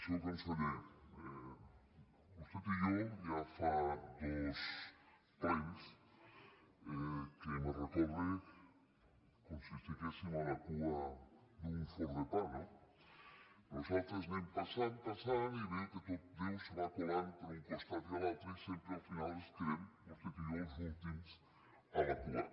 senyor conseller vostè i jo ja fa dos plens que me recorda com si estiguéssim a la cua d’un forn de pa no nosaltres anem passant passant i veiem que tot déu se va colant per un costat i l’altre i sempre al final ens quedem vostè i jo els últims a la cua